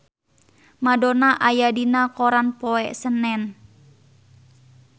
Madonna aya dina koran poe Senen